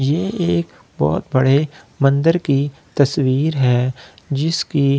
ये एक बहुत बड़े मंदिर की तस्‍वीर है जिसकी --